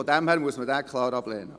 Daher muss man ihn klar ablehnen.